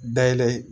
Dayɛlɛ